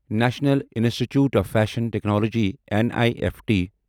national institute of fashion technology N I F T